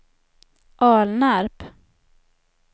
Alnarp